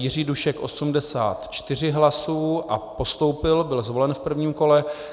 Jiří Dušek 84 hlasů a postoupil, byl zvolen v prvním kole.